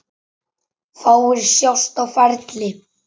Fáir sjást á ferli.